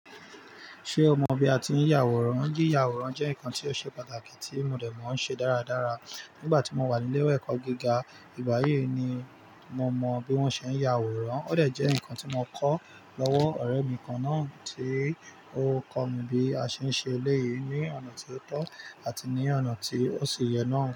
Ṣé o mọ bí a ti ń yàwòrán? Yíya àwòrán jẹ́ nǹkan tí ó ṣe pàtàkì tí mo dẹ̀ mọ̀ ọ́ ṣe dáradára nígbà tí mo wà ní ilé ẹ̀kọ́ gíga. Ìgbáyiì ni mo mọ bí wọ́n ṣe ń yàwòrán. Ó dẹ̀ jẹ́ nǹkan tí mo kọ́ lọ́wọ́ ọ̀rẹ́ mi kan náà tí ó kọ́ mi bí a ṣe ń ṣe eléyìí ní ọ̀nà tí ó tọ́ àti ní ọ̀nà tí ó ṣi yẹ náà.